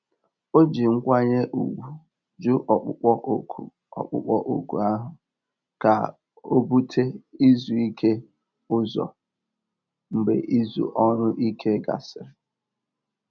Ó jí nkwányè ùgwù jụ́ ọ̀kpụ́kpọ́ òkù ọ̀kpụ́kpọ́ òkù áhụ̀ kà ó búté ízú íké ụ́zọ̀ mgbe ízú ọ́rụ̀-íké gàsị̀rị́.